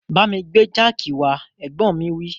Bámi gbé jáàkì wá, Ẹ̀gbọ́n mi wí